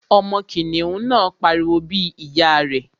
Ọmọ kìnìún náà pariwo bí ìyá rẹ̀